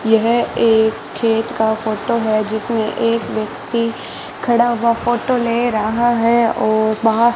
यह एक खेत का फोटो है जिसमें एक व्यक्ति खड़ा हुआ फोटो ले रहा है और वहां --